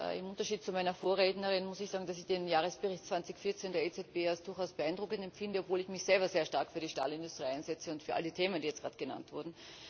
Im Unterschied zu meiner Vorrednerin muss ich sagen, dass ich den Jahresbericht 2014 der EZB durchaus beeindruckend empfinde, obwohl ich mich selber sehr stark für die Stahlindustrie einsetze und für alle Themen, die jetzt gerade genannt wurden.